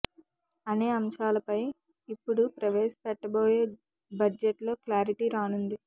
అనే అంశాలపై ఇప్పుడు ప్రవేశపెట్టబోయే బడ్జెట్ లో క్లారిటీ రానుంది